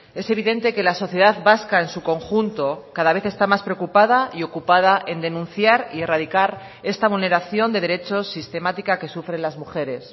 es evidente que la sociedad vasca en su conjunto cada vez está más preocupada y ocupada en denunciar y erradicar esta vulneración de derechos sistemática que sufren las mujeres